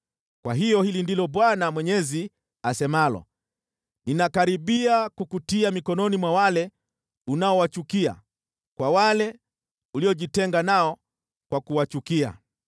“Kwa hiyo hili ndilo Bwana Mwenyezi asemalo: Ninakaribia kukutia mikononi mwa wale unaowachukia, kwa wale uliojitenga nao kwa kuwachukia.